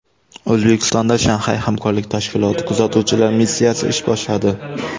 O‘zbekistonda Shanxay hamkorlik tashkiloti kuzatuvchilar missiyasi ish boshladi.